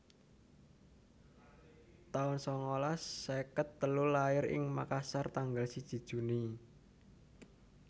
taun sangalas seket telu Lair ing Makassar tanggal siji Juni